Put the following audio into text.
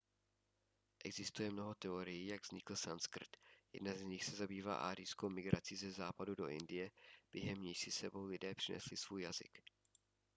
existuje mnoho teorií jak vznikl sanskrt jedna z nich se zabývá árijskou migrací ze západu do indie během níž si s sebou lidé přinesli svůj jazyk